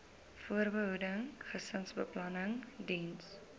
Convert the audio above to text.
voorbehoeding gesinsbeplanning diens